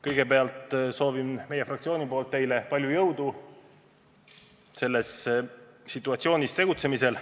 Kõigepealt soovin meie fraktsiooni nimel teile palju jõudu selles situatsioonis tegutsemisel.